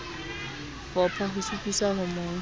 fopha ho sututsa ho mo